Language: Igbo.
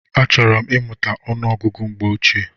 Achọrọ m imuta ọnụ ọgụgụ mgbe ochie.